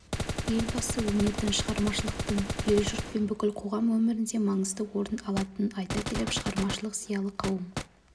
елбасы өнердің шығармашылықтың ел-жұрт пен бүкіл қоғам өмірінде маңызды орын алатынын айта келіп шығармашылық зиялы қауым